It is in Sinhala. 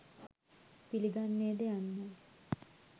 පිළිගන්නේද යන්නයි.